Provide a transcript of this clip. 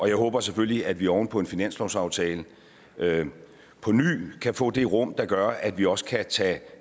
jeg håber selvfølgelig at vi oven på finanslovsaftalen påny kan få det rum der gør at vi også kan tage